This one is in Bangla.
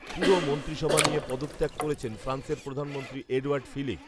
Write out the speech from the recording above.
পুরো মন্ত্রিসভা নিয়ে পদত্যাগ করেছেন ফ্রান্সের প্রধানমন্ত্রী এ্যডওয়ার্ড ফিলিপ